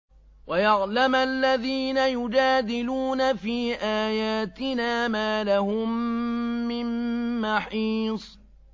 وَيَعْلَمَ الَّذِينَ يُجَادِلُونَ فِي آيَاتِنَا مَا لَهُم مِّن مَّحِيصٍ